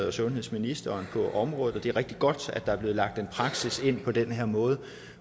og sundhedsministeren på området og det er rigtig godt at der er blevet lagt en praksis ind på den her måde